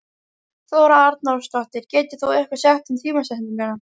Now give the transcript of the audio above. Þóra Arnórsdóttir: Getur þú eitthvað sagt um tímasetningu?